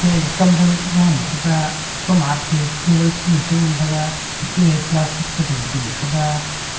ag kam thau jahnu thaga kom atte table kunu chi ngan thaga ku ee plastic phai dingpu nu thaga ku--